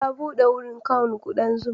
Ta buɗe wurin kown ƙudan zuma.